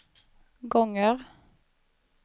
gånger